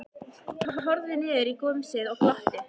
Hann horfði niður í gumsið og glotti.